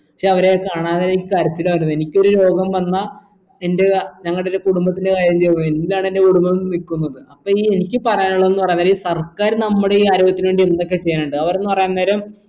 ക്ഷെ അവരെ കാണാനെനിക്ക് കരച്ചിലാ വരുന്നേ എനിക്കൊരു രോഗം വന്ന എൻ്റെ ഞങ്ങടെ ഒരു കുടുംബത്തിലെ കാര്യന്തേയും എന്നിലാണ് എൻ്റെ കുടുംബം നിക്കുന്നത് അപ്പൊ ഈ എനിക്ക് പറയാനുള്ളത് ന്നു പറയാൻ നേരം ഈ സർക്കാർ നമ്മടെ ഈ ആരോഗ്യത്തിന് വേണ്ടി എന്തൊക്കെ ചെയ്യാനിണ്ട്‌ അവർ ന്ന് പറയാൻ നേരം